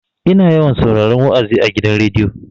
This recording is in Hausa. Ina yawan sauraron wa'azi a gidan rediyo.